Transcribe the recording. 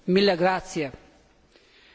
Kedves képviselőtársaim!